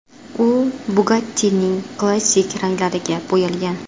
U Bugatti’ning klassik ranglariga bo‘yalgan.